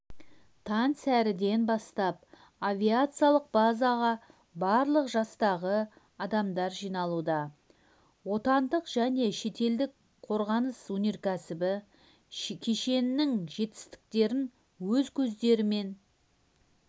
таңсәріден бастап авиациялық базаға барлық жастағы адамдар жиналуда отандық және шетелдік қорғаныс-өнеркәсібі кешенінің жетістіктерін өз көздерімен